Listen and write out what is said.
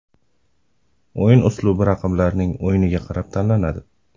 O‘yin uslubi raqiblarning o‘yiniga qarab tanlanadi.